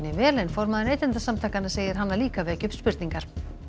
vel en formaður Neytendasamtakanna segir hana líka vekja upp spurningar